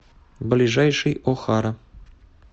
ближайший охара